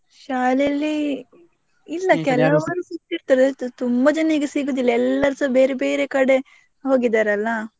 ಶಾಲೆಯಲ್ಲಿ ಸಿಕ್ತಿರ್ತಾರೆ, ತುಂಬಾ ಜನ ಈಗ ಸಿಗುದಿಲ್ಲ ಎಲ್ಲರೂಸ ಬೇರೆ ಬೇರೆ ಕಡೆ ಹೋಗಿದ್ದಾರೆ ಅಲ್ಲ.